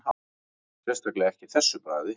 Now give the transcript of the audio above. Sérstaklega ekki þessu bragði